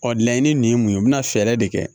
Ɔ laɲini nin ye mun ye i bɛna fɛɛrɛ de kɛ